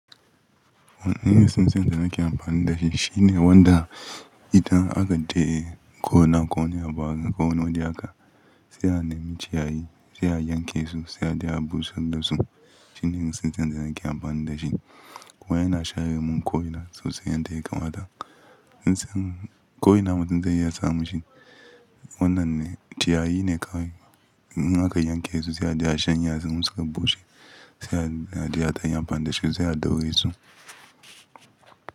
Wani irin tsintsiyan da zan ke amfani da shi shine wanda idan aka je gona ko wani abu haka ko wani waje haka, sai a nemi ciyayi sai a yanke su sai a je a busar da su. Tv n sunking ne na ke amfani da shi. Kuma yana share min komai sosai yanda ya kamata ko ina mutum zai iya samu shi. Wannan ne, ciyayi ne kawai. In aka yanke su sai a je a shanye har zumunci ka bushe. Sai a je a taya amfani da shi sai a daure su.